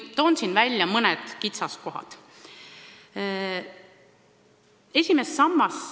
Toon siin välja mõned kitsaskohad.